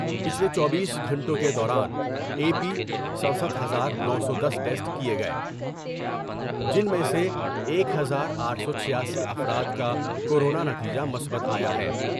پچھلے چوبیس گھنٹوں کے دوران اے پی سڈ سٹھ ہزار نو سو دس ٹسٹ کئے گئے جن میں سے ایک ہزار آٹھ سو چھیاسی افراد کا کورونا نتیجہ مثبت آیا ہے ۔